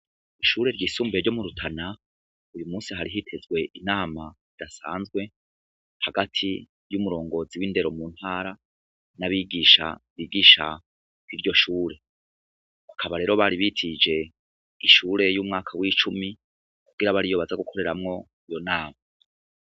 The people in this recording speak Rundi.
Ishure ryisumbuye ryo murutana, uyumunsi hari hitezwe inama idasanzwe ,hagati y'umurongozi w'indero muntara n'abigisha bigisha kwiryo shure, bakaba rero bari bitije ishure y'umwaka w'icumi ,kugira ariyo baza gukoreramwo iyo nama.